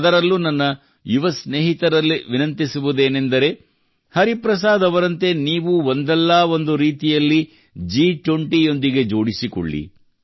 ಅದರಲ್ಲೂ ನನ್ನ ಯುವ ಸ್ನೇಹಿತರಲ್ಲಿ ವಿನಂತಿಸುವುದೇನೆಂದರೆ ಹರಿಪ್ರಸಾದ್ ಅವರಂತೆ ನೀವೂ ಒಂದಲ್ಲ ಒಂದು ರೀತಿಯಲ್ಲಿ ಜಿ20 ಯೊಂದಿಗೆ ಜೋಡಿಸಿಕೊಳ್ಳಿ